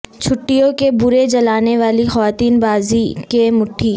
چھٹیوں کے برے جلانے والی خواتین بازی کے مٹھی